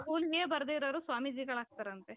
ಒದೆ ಬರದೆ ಇರೋರು ಸ್ವಾಮೀಜಿಗಳಾಗ್ತಾರಂತೆ .